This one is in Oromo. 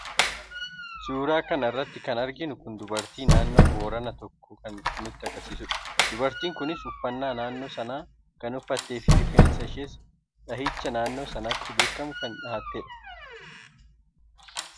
suuraa kana irratti kan arginu kun dubartii naannoo booranaa tokko kan nutti agarsiisudha. dubartiin kunis uffannaa naannoo sanaa kan uffattee fi rifeensa ishees dhahicha naannoo sanatti beekamu kan dhahatte dha.